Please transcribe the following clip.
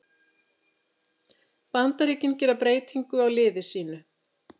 Bandaríkin gera breytingu á liði sínu